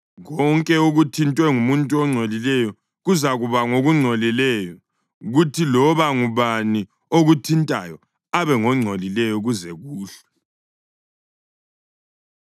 Konke okuthintwe ngumuntu ongcolileyo kuzakuba ngokungcolileyo, kuthi loba ngubani okuthintayo abe ngongcolileyo kuze kuhlwe.”